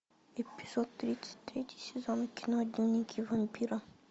эпизод тридцать третий сезон кино дневники вампира